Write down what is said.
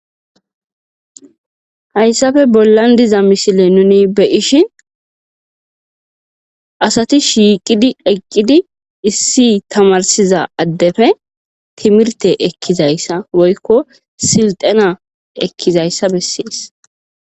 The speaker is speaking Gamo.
Hayssafe bollan diza misile nuni beyishi asati shiiqidi eqqidi issi tamarsiza addefe timirte ekkizayssa woykko silxana ekkizayssa bessees.